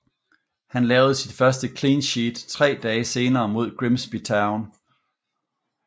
Han lavede sit første clean sheet tre dage senere mod Grimsby Town